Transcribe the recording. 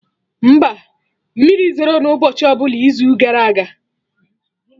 Mba, mmiri zoro na ụbọchị ọbụla izu gara aga